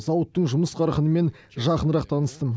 зауыттың жұмыс қарқынымен жақынырақ таныстым